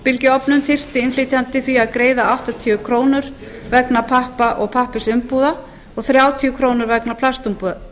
kílógramm af örbylgjuofnum þyrfti innflytjandi því að greiða áttatíu krónur vegna pappa og pappírsumbúða og þrjátíu krónur vegna plastumbúða